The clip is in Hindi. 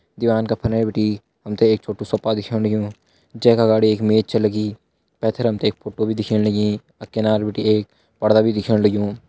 दिवान का फने बटी हमथे एक छोट्टु सोपा दिखेण लग्यूं जैका अगाड़ी एक मेच च लगी पैथर हमते एक फोटो भी दिखेण लगीं अ किनार बटी एक पर्दा भी दिखेण लग्युं।